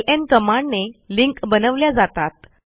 LN कमांडने link बनवल्या जातात